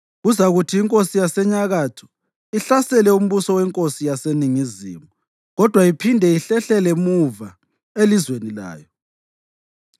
Kuzakuthi inkosi yaseNyakatho ihlasele umbuso wenkosi yaseNingizimu kodwa iphinde ihlehlele muva elizweni layo.